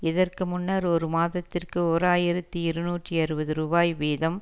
இதற்கு முன்னர் ஒரு மாதத்திற்கு ஓர் ஆயிரத்தி இருநூற்றி அறுபது ரூபாய் வீதம்